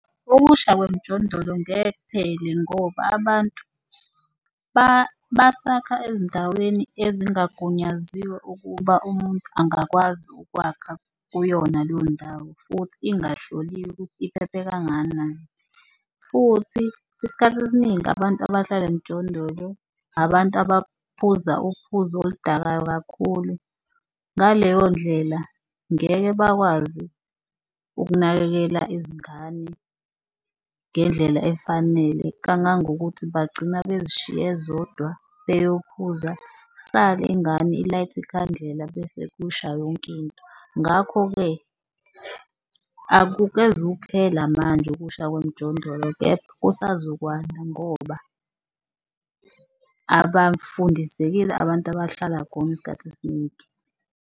Ukusha kwemijondolo ngeke kuphele ngoba abantu basakha ezindaweni ezingagunyaziwe ukuba umuntu angakwazi ukwakha kuyona leyo ndawo futhi ingahloliwe ukuthi iphephe kangakanani. Futhi isikhathi esiningi abantu abahlala emijondolo abantu abaphuza uphuzo oludakayo kakhulu ngaleyondlela, ngeke bakwazi ukunakekela izingane ngendlela efanele kangangokuthi bagcina bezishiye zodwa beyophuza isale ingane ilayithe ikhandlela bese kushaya yonkinto. Ngakho-ke akukeze ukuphela manje okusha kwemijondolo kepha kusazokwanda ngoba abafundisekile abantu abahlala khona isikhathi esiningi.